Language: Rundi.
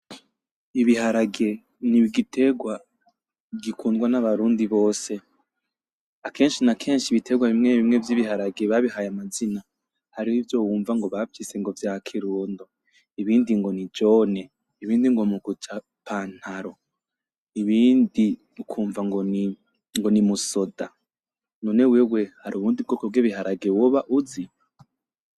Ibiharage n’igitegwa gikundwa n’Abarundi bose. Akenshi na kenshi ibitegwa bimwe bimwe vy’ibiharage babihaye amazina hariho ivyo wunva ngo bavyise ngo vya Kirundo ,ibindi ngo ni Jone ,ibindi ngo muguca pantalo ibindi ukwunva ngo ni musoda, none wewe hari ubundi bwoko bw’ibiharage woba uzi.